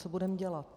Co budeme dělat?